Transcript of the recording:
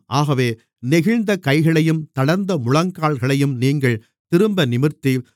ஆகவே நெகிழ்ந்த கைகளையும் தளர்ந்த முழங்கால்களையும் நீங்கள் திரும்ப நிமிர்த்தி